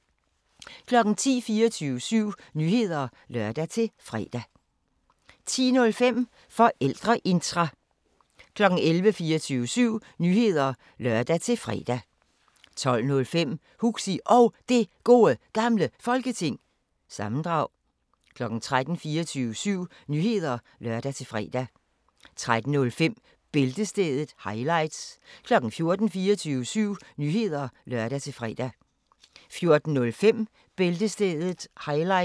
10:00: 24syv Nyheder (lør-fre) 10:05: Forældreintra 11:00: 24syv Nyheder (lør-fre) 11:05: Hviids Varmestue 12:00: 24syv Nyheder (lør-fre) 12:05: Huxi Og Det Gode Gamle Folketing- sammendrag 13:00: 24syv Nyheder (lør-fre) 13:05: Bæltestedet – highlights 14:00: 24syv Nyheder (lør-fre) 14:05: Bæltestedet – highlights